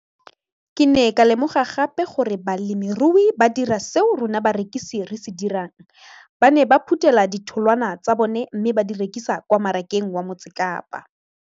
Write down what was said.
Ke ne ka lemoga gape gore balemirui ba dira seo rona barekisi re se dirang - ba ne ba phuthela ditholwana tsa bona mme ba di rekisa kwa marakeng wa Motsekapa.